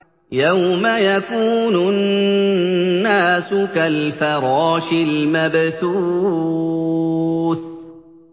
يَوْمَ يَكُونُ النَّاسُ كَالْفَرَاشِ الْمَبْثُوثِ